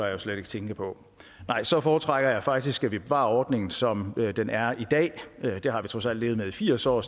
jeg slet ikke tænke på nej så foretrækker jeg faktisk at vi bevarer ordningen som den er i dag det har vi trods alt levet med i firs år